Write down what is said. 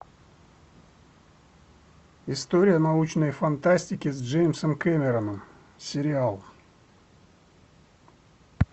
история научной фантастики с джеймсом кэмероном сериал